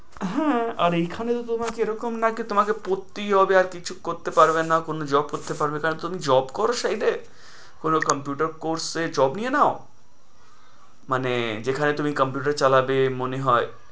হ্যাঁ, আর এখানে যে তোমার এ রকম নাকি তোমাকে পড়তেই হবে, আর কিছু করতে পারবে না, কোনো job করতে পারবে না। তুমি job করো site এ, কোনো computer course এ জব নিয়ে নাও। মানে যেখানে তুমি computer চালাবে মনে হয়।